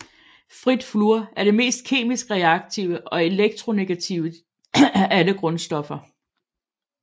Frit fluor er det mest kemisk reaktive og elektronegative af alle grundstoffer